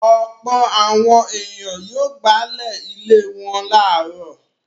Ọ̀pọ̀ àwọn ènìyàn yóò gbálẹ̀ ilé wọn láàárọ̀.